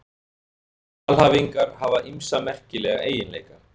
Alhæfingar hafa ýmsa merkilega eiginleika.